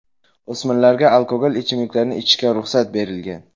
O‘smirlarga alkogol ichimliklarni ichishga ruxsat berilgan.